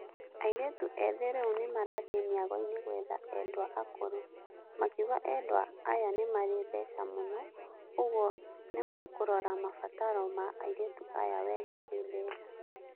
Airĩtu ethĩ rĩu nĩmarathiē mĩagoinĩ gwetha endwa akũrũ, makiuga endwa aya nĩmarĩ mbeca muno ũguo nimakũrora mabataro ma aiirĩtu aya wega kĩbeca.